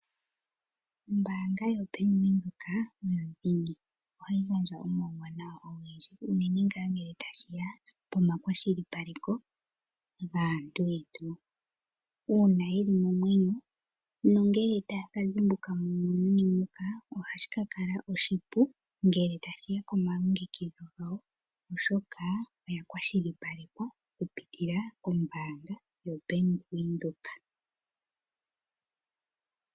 Oombanga yoBank Windhoek oyo dhingi. Ohayi gandja omawu wanawa ogendji unene ngaa ne nge tashiya pomakwashi paleko gaantu yetu . Uuna yeli momwenyo nongele taya ka zimbuka momwenyo moka ohashi ka ka la oshipu ngele tashiya komalongekidho gawo . Oshoka oya kwashilipalekwa okupitila kombaanga yobank Windhoek.